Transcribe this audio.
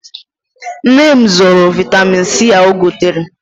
Nne m zoro vaịtamin C ahụ o gotere.